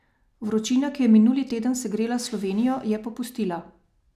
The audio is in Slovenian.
Vročina, ki je minuli teden segrela Slovenijo, je popustila.